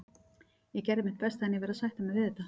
Ég gerði mitt besta en verð að sætta mig við þetta.